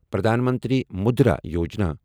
Pradhan Mantri Mudra Yojana